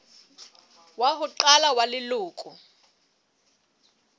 wa ho qala wa leloko